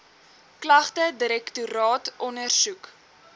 klagte direktoraat ondersoek